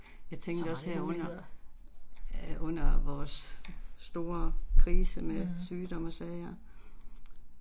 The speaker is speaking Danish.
Jeg tænkte også herunder, æh under vores store krise med sygdom og sager